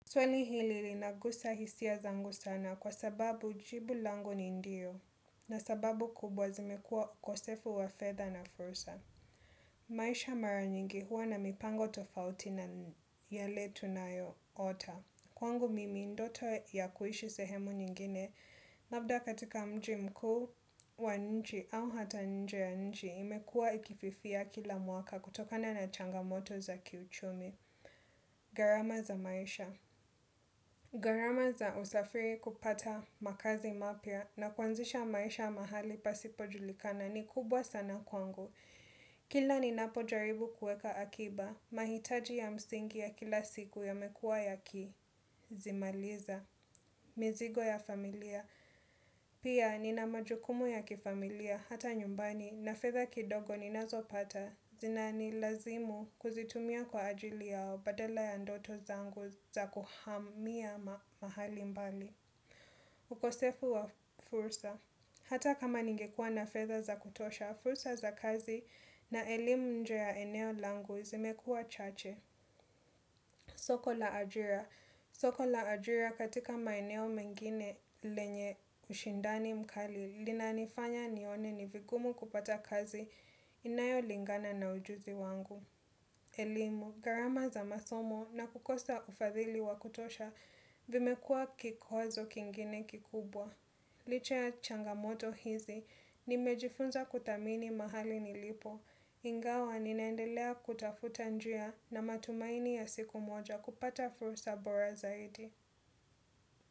Swali hili linagusa hisia zangu sana kwa sababu jibu langu ni ndiyo na sababu kubwa zimekua ukosefu wa fedha na furusa. Maisha mara nyingi huwa na mipango tofauti na yale tunayo ota. Kwangu mimi ndoto ya kuishi sehemu nyingine. Labda katika mji mkuu wa nchi au hata nje ya nchi imekua ikififia kila mwaka kutokana na changamoto za kiuchumi. Garama za maisha. Gharama za usafiri kupata makazi mapya na kuanzisha maisha mahali pasipojulikana ni kubwa sana kwangu. Kila ninapo jaribu kuweka akiba, mahitaji ya msingi ya kila siku yamekuwa yakizimaliza. Mizigo ya familia, pia nina majukumu ya kifamilia hata nyumbani na fedha kidogo ninazopata. Zinanilazimu kuzitumia kwa ajili yao badala ya ndoto zangu za kuhamia mahali mbali. Ukosefu wa fursa. Hata kama ningekua na fetha za kutosha, fursa za kazi na elimu nje ya eneo langu zimekua chache. Soko la ajira. Soko la ajira katika maeneo mengine lenye ushindani mkali. Linanifanya nione ni vigumu kupata kazi inayo lingana na ujuzi wangu. Elimu, gharama za masomo na kukosa ufadhili wa kutosha vimekua kikwazo kingine kikubwa. Licha ya changamoto hizi nimejifunza kuthamini mahali nilipo. Ingawa ninaendelea kutafuta njia na matumaini ya siku moja kupata fursa borazaidi.